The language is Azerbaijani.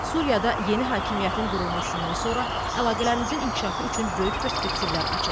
Suriyada yeni hakimiyyətin qurulmasından sonra əlaqələrimizin inkişafı üçün böyük perspektivlər açılıb.